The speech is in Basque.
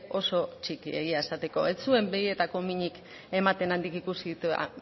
oso txiki egia esateko ez zuen begietako minik ematen handik ikusita